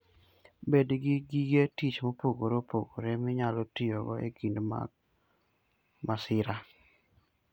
Bed gi gige tich mopogore opogore minyalo tiyogo e kinde mag masira.